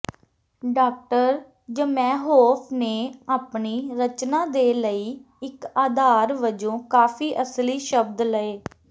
doctor Zamenhof ਨੇ ਆਪਣੀ ਰਚਨਾ ਦੇ ਲਈ ਇੱਕ ਆਧਾਰ ਵਜੋਂ ਕਾਫ਼ੀ ਅਸਲੀ ਸ਼ਬਦ ਲਏ